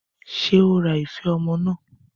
Ṣé ó ra ife ọmọ náà?